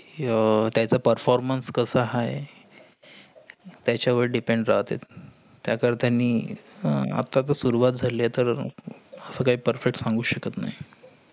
अह त्याचा performance कसा आहे. त्याचा वर depend राहतेय. त्या कर त्यानी आह आत्ताचा सुरुवात झालेत काही perfect सांगु शकत नाही.